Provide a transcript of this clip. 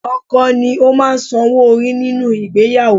Ọkọ ni ó máa ń san owó orí nínú ìgbéyàwó